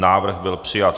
Návrh byl přijat.